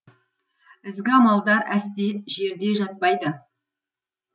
ізгі амалдар әсте жерде жатпайды